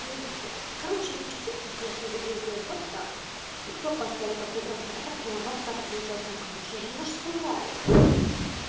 ну блядь короче ты чисто вежливо ездил вот так и кто поставил такую развратную аватарку ужасную конечно же наш славик